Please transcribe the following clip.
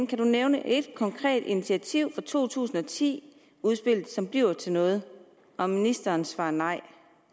kan du nævne et konkret initiativ fra to tusind og ti udspillet som bliver til noget og ministeren svarer nej